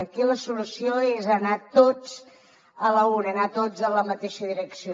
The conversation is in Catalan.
aquí la solució és anar tots a l’una anar tots en la mateixa direcció